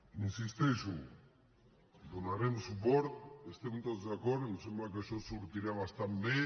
hi insisteixo hi donarem suport hi estem tots d’acord em sembla que això sortirà bastant bé